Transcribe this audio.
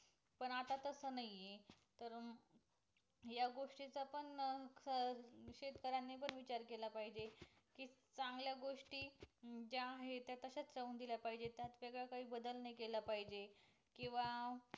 पण तस नाही आहे. तर या गोष्टी चा पण शेतकऱ्यांनी पण विचार केला पाहिजे की चांगल्या गोष्टी ज्या आहे ते तश्या राहू दिल पाहिजे त्यात वेगळं काही बदल नाही केल पाहिजे केंव्हा